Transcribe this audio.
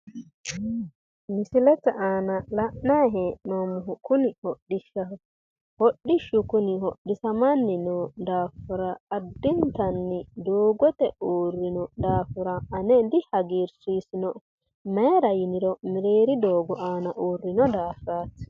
Misilete aana la'nanni hee'noommohu kuni hodhishshaho hodhishshu kuni hodhisamanni noo daafira addintanni doogote aana uurrino daafira ane dihagiirsiisinoe mayiira yiniro mereeri doogo aana uurrino daafiraati.